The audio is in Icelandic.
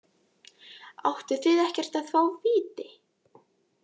Áttu þið ekkert að fá víti?